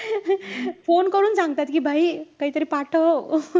phone करून सांगतात कि काहीतरी पाठव.